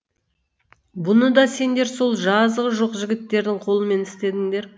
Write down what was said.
бұны да сендер сол жазығы жоқ жігіттердің қолымен істедіңдер